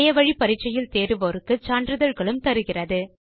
இணையத்தில் பரிட்சை எழுதி தேர்வோருக்கு சான்றிதழ்களும் தருகிறது